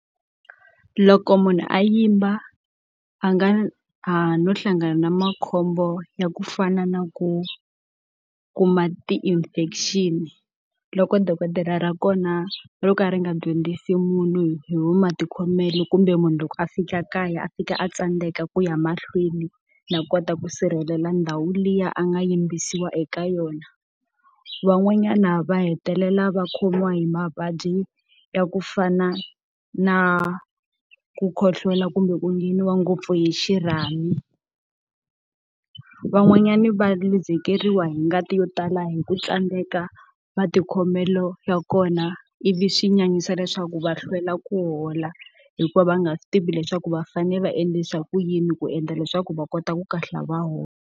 Loko munhu a yimba a nga a no hlangana na makhombo ya ku fana na ku kuma ti-infection-i, loko dokodela ra kona ro ka ri nga dyondzisi munhu hi matikhomelo kumbe munhu loko a fika kaya a fika a tsandzeka ku ya mahlweni na kota ku sirhelela ndhawu liya a nga yimbisiwa eka yona. Van'wanyana va hetelela va khomiwa hi mavabyi ya ku fana na ku khohlola kumbe ku ngheniwa ngopfu hi xirhami. Van'wanyani va luzekeriwa hi ngati yo tala hi ku tsandzeka matikhomelo ya kona, ivi swi nyanyisa leswaku va hlwela ku hola hikuva va nga swi tivi leswaku va fanele va endlisa ku yini ku endla leswaku va kota ku kahlula a va hola.